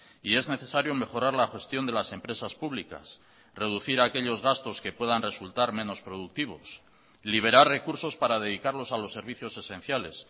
y es necesario mejorar la gestión de las empresas públicas reducir aquellos gastos que puedan resultar menos productivos liberar recursos para dedicarlos a los servicios esenciales